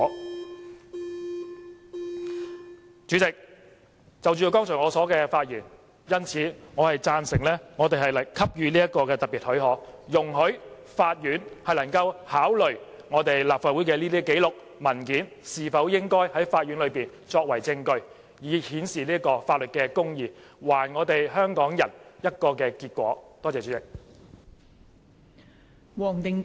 代理主席，就我剛才的發言，我贊成給予這項特別許可，容許法院能考慮我們立法會的這些紀錄和文件是否應在法院內作為證據，以顯示法律公義，還我們香港人一個結果。